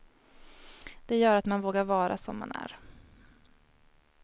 Det gör att man vågar vara som man är.